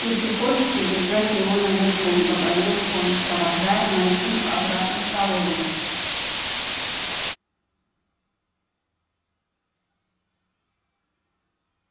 и приходится держать его наверху говорил он провожая мейсонов обратно в столовую